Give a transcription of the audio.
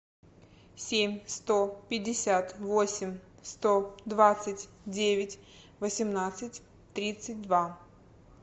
семь сто пятьдесят восемь сто двадцать девять восемнадцать тридцать два